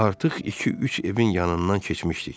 Artıq iki-üç evin yanından keçmişdik.